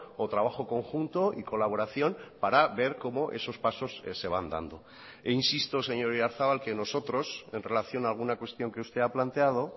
o trabajo conjunto y colaboración para ver cómo esos pasos se van dando e insisto señor oyarzabal que nosotros en relación a alguna cuestión que usted ha planteado